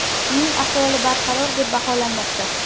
Uning ahvoli barqaror deb baholanmoqda.